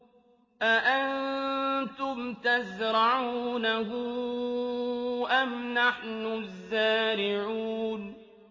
أَأَنتُمْ تَزْرَعُونَهُ أَمْ نَحْنُ الزَّارِعُونَ